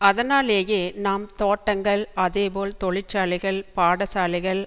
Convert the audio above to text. அதனாலேயே நாம் தோட்டங்கள் அதே போல் தொழிற்சாலைகள் பாடசாலைகள்